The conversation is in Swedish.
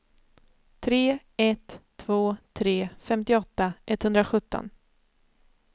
tre ett två tre femtioåtta etthundrasjutton